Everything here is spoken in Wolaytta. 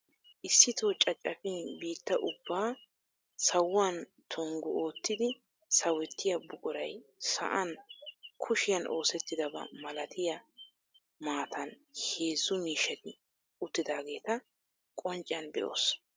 Issitoo cacafiin bitta ubbaa sawuwan tonggu oottidi sawettiyaa buquray sa'an kushshiyaan oosettida ba malatiyaa maatan heezzu miishshati uttidaageta qoncciyaan be'oos.